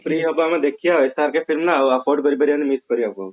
free ହେବ ଆମେ ଦେଖିବା ଆଉ SRK film ନା ଆଉ କରି ପାରିବାନି book କରିବାକୁ